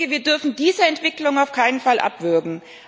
Wir dürfen diese Entwicklung auf keinen Fall abwürgen.